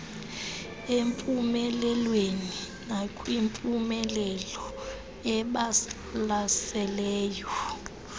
empumelelweni nakwimpumelelo ebalaseley